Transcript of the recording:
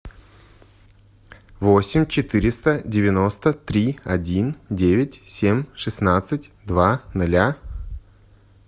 восемь четыреста девяносто три один девять семь шестнадцать два ноля